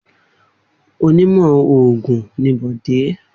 Onímọ̀ òògùn ni Bọ̀dé.